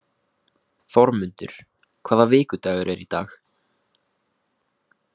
Þormundur, hvaða vikudagur er í dag?